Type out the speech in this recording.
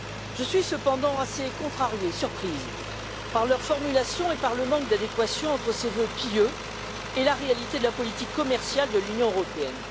Je suis cependant assez contrariée, surprise par leur formulation et par le manque d'adéquation entre les vœux pieux formulés et la réalité de la politique commerciale de l'Union européenne.